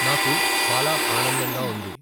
నాకు ఛాలా ఆనందంగా వుంది.